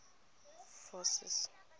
forces